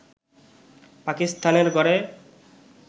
পাকিস্তানের ঘরে